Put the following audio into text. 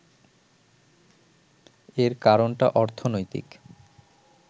এর কারণটা অর্থনৈতিক